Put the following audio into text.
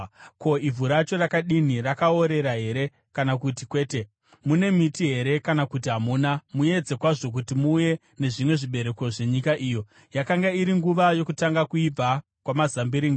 Ko, ivhu racho rakadini? Rakaorera here kana kuti kwete? Mune miti here kana kuti hamuna? Muedze kwazvo kuti muuye nezvimwe zvezvibereko zvenyika iyo.” (Yakanga iri nguva yokutanga kuibva kwamazambiringa).